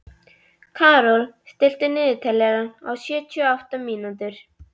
Karol, stilltu niðurteljara á sjötíu og átta mínútur.